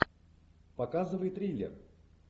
показывай триллер